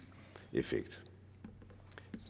effekt